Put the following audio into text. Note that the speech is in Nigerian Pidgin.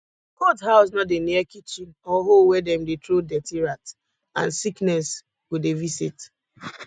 goat house nor dey near kitchen or hole wey dem dey throw dirty rat and sickness go dey visit